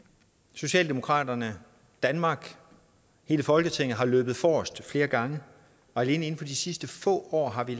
socialdemokraterne danmark hele folketinget har løbet forrest flere gange og alene inden for de sidste få år har vi